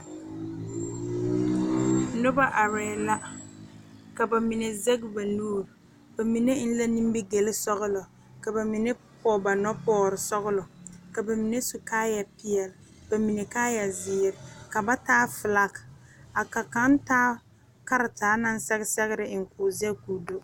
Noba are la ka bamine zaŋ ba nuure bamine e la nimigel sɔglɔ ka bamine poɔ ba noɔ pɔge sɔglɔ ka bamine su kaaya peɛle bamine kaaya ziiri ka ba taa filak ka kaŋa taa karetaa naŋ sɛge sɔgre eŋ ko'o zaŋ ko'o do.